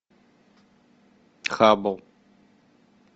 хабл